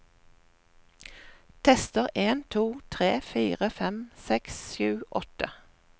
Tester en to tre fire fem seks sju åtte